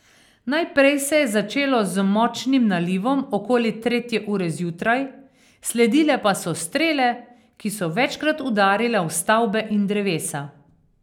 Najprej se je začelo z močnim nalivom okoli tretje ure zjutraj, sledile pa so strele, ki so večkrat udarile v stavbe in drevesa.